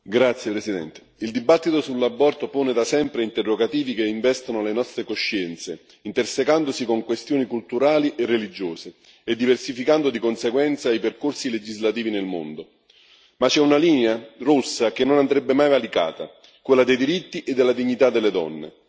Signor Presidente, onorevoli colleghi, il dibattito sull'aborto pone da sempre interrogativi che investono le nostre coscienze, intersecandosi con questioni culturali e religiose, e diversificando di conseguenza i percorsi legislativi nel mondo. Ma c'è una linea rossa che non andrebbe mai valicata, quella dei diritti e della dignità delle donne.